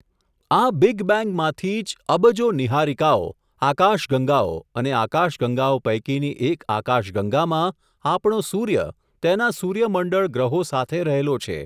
આ બીગ બેન્ગમાંથી જ, અબજો નિહારિકાઓ, આકાશ ગંગાઓ, અને આકાશગંગાઓ પૈકીની એક આકાશગંગામાં, આપણો સૂર્ય તેના સૂર્યમંડળ ગ્રહો સાથે રહેલો છે.